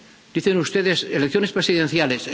es. Dicen ustedes elecciones presidenciales.